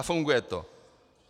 A funguje to.